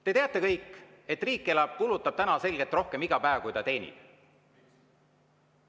Te teate kõik, et riik kulutab iga päev selgelt rohkem, kui ta teenib.